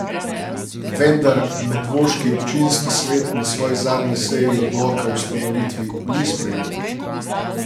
Vendar medvoški občinski svet na svoji zadnji seji odloka o ustanovitvi ni sprejel.